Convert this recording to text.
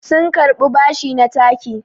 sun karɓi bashi na taki